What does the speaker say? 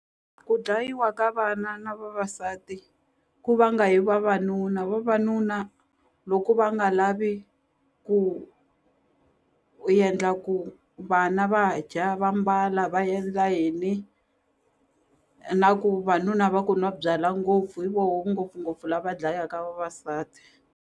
Ku dlayiwa ka vana na vavasati ku vanga hi vavanuna vavanuna loko va nga lavi ku endla ku vana va dya va mbala va endla yini na ku vanuna va ku nwa byalwa ngopfu hi voho ngopfungopfu lava dlayaka vavasati.